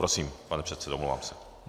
Prosím, pane předsedo, omlouvám se.